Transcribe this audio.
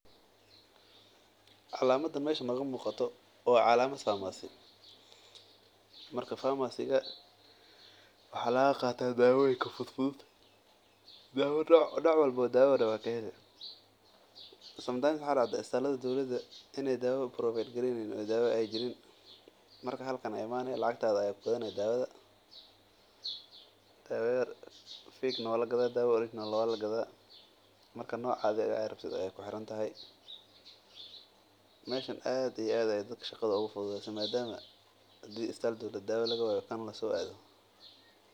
Calamada meesha nooga muuqato waa calamad farmasi waxaa laga qaata daawo fudud nooc walbo oo daawa ayaa laga helaa isbitaalada dowlada daawa lagama helo marka meeshan ayaa ka gasaneysa.